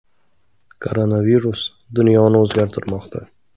Koronavirus dunyoni o‘zgartirmoqda.